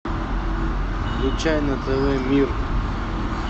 включай на тв мир